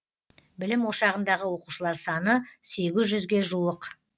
білім ошағындағы оқушылар саны сегіз жүзге жуық